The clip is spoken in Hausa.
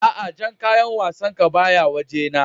a'a Jan kayan wassan ka ba ya waje na.